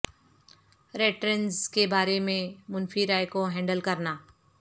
retainers کے بارے میں منفی رائے کو ہینڈل کرنا